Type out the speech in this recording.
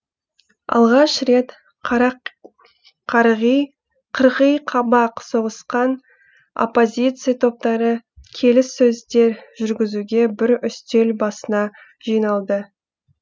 алғаш рет қырғиқабақ соғысқан оппозиция топтары келіссөздер жүргізуге бір үстел басына жиналды